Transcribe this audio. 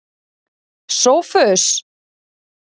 Sófus